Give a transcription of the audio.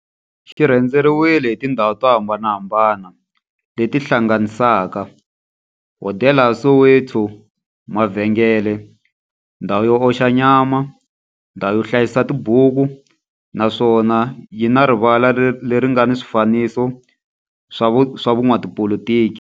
Xi rhendzeriwile hi tindhawu to hambanahambana le ti hlanganisaka, hodela ya Soweto, mavhengele, ndhawu yo oxa nyama, ndhawu yo hlayisa tibuku, naswona yi na rivala le ri nga na swifanekiso swa vo n'watipolitiki.